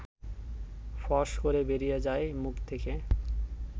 ফস করে বেরিয়ে যায় মুখ থেকে